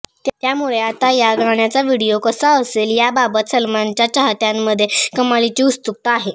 त्यामुळे आता या गाण्याचा व्हिडीओ कसा असेल याबाबत सलमानच्या चाहत्यांमध्ये कमालिची उत्सुकता आहे